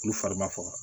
Olu fari ma faga